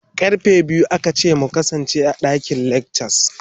Karfe biyu aka ce mu kasance a dakin lecture.